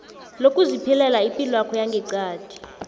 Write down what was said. lokuziphilela ipilwakho yangeqadi